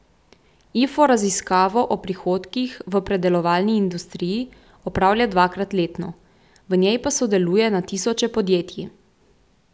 Ifo raziskavo o prihodkih v predelovalni industriji opravlja dvakrat letno, v njej pa sodeluje na tisoče podjetij.